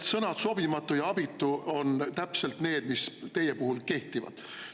Sõnad "sobimatu" ja "abitu" on täpselt need, mis teie puhul kehtivad.